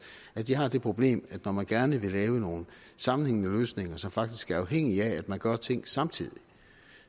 at de har det problem at når man gerne vil lave nogle sammenhængende løsninger som faktisk er afhængige af at man gør ting samtidig